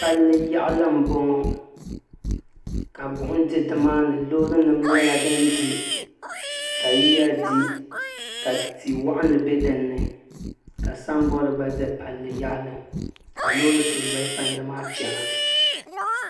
Palli yaɣali m boŋɔ ka buɣum fi nimaani loori nima nyɛla ka yiya di ka ti'waɣinli be dini ka samboori gba za palli zuɣu ka loori so be palli maa zuɣu chena.